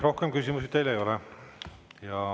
Rohkem küsimusi teile ei ole.